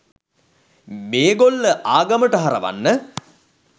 මේගොල්ල ආගමට හරවන්න